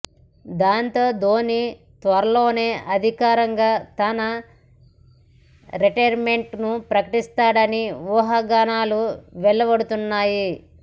దాంతో ధోని త్వరలోనే అధికారికంగా తన రిటైర్మెంట్ ను ప్రకటిస్తాడని ఊహాగానాలు వెలువడుతున్నాయి